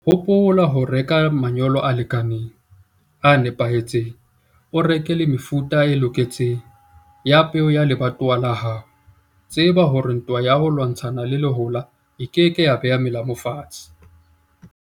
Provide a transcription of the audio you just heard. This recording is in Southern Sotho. Hopola ho reka manyolo a lekaneng, a nepahetseng. O reke le mefuta e loketseng ya peo ya lebatowa la hao. Tseba hore ntwa ya ho lwantshana le lehola e ke ke ya beha melamu fatshe.